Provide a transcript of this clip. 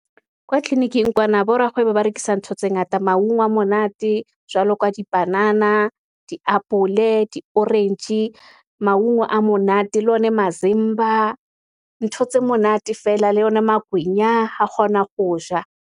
Kwa tleliniking kwana, bo rakgwebo ba rekisa ntho tse ngata, mawungwa monate, jwalo ka dipanana, diapole, di-orange, mawungwa a monate, le o ne masimba, ho tse monate feela le yona magwenya. Ha kgona ho ja.